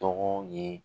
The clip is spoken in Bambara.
Tɔgɔ ye